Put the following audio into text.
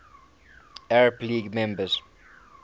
arab league member